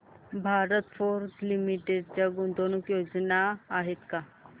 Bharat Forge Limited च्या गुंतवणूक योजना आहेत का